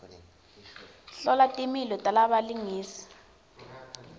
hlola timilo talabalingisi